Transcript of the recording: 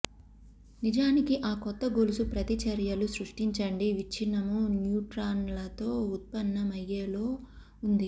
నిజానికి ఆ కొత్త గొలుసు ప్రతిచర్యలు సృష్టించండి విచ్చినము న్యూట్రాన్లతో ఉత్పన్నమయ్యే లో ఉంది